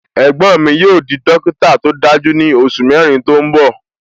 Ẹ̀gbọ́n mi yóò di dókítà tó dájú ní oṣù mẹrin tó ń bọ